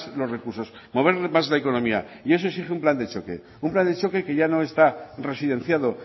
los recursos mover más la economía y eso exige un plan de choque un plan de choque que ya no está residenciado